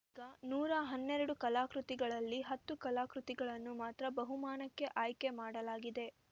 ಈಗ ನೂರಾ ಹನ್ನೆರಡು ಕಲಾಕೃತಿಗಳಲ್ಲಿ ಹತ್ತು ಕಲಾಕೃತಿಗಳನ್ನು ಮಾತ್ರ ಬಹುಮಾನಕ್ಕೆ ಆಯ್ಕೆ ಮಾಡಲಾಗಿದೆ